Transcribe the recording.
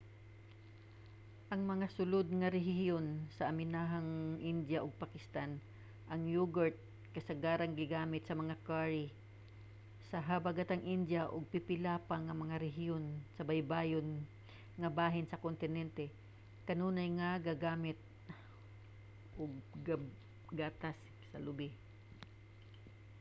sa mga sulud nga rehiyon sa amihanang india ug pakistan ang yogurt kasagarang gigamit sa mga curry; sa habagatang india ug pipila pa nga mga rehiyon sa baybayon nga bahin sa kontinente kanunay nga gagamit ug gatas sa lubi